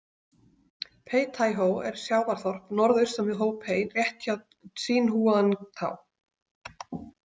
Peitæhó er sjávarþorp norðaustan við Hópei rétt hjá Tsínhúangtá.